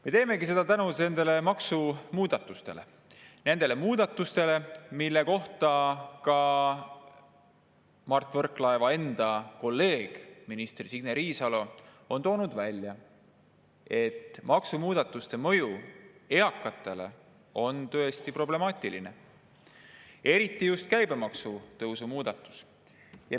Me teemegi seda nende maksumuudatuste tõttu, mille kohta ka Mart Võrklaeva enda kolleeg minister Signe Riisalo on öelnud, et maksumuudatuste mõju eakatele on tõesti problemaatiline, eriti käibemaksu tõusu muudatus.